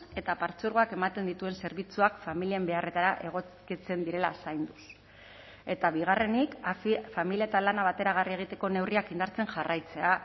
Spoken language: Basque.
eta partzuergoak ematen dituen zerbitzuak familien beharretara egokitzen direla zainduz eta bigarrenik familia eta lana bateragarri egiteko neurriak indartzen jarraitzea